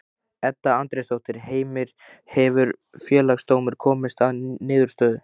Edda Andrésdóttir: Heimir, hefur Félagsdómur komist að niðurstöðu?